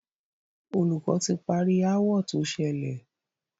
Olùkọ́ ti parí aáwọ̀ tó ṣẹlẹ̀.